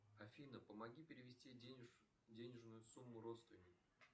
афина помоги перевести денежную сумму родственнику